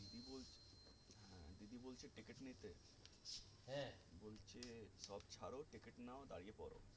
বলছে সব ছাড়ো ticket নাও দাঁড়িয়ে পড়ো